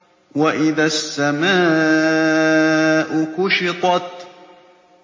وَإِذَا السَّمَاءُ كُشِطَتْ